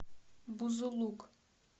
бузулук